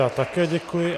Já také děkuji.